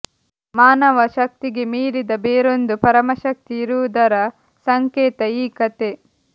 ಮಾನವ ಶಕ್ತಿಗೆ ಮೀರಿದ ಬೇರೊಂದು ಪರಮಶಕ್ತಿ ಇರುವುದರ ಸಂಕೇತ ಈ ಕಥೆ